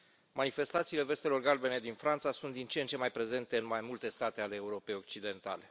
Manifestațiile vestelor galbene din Franța sunt din ce în ce mai prezente în mai multe state ale Europei occidentale.